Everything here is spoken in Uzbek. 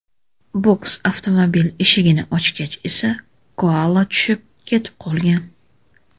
Boks avtomobil eshigini ochgach esa koala tushib, ketib qolgan.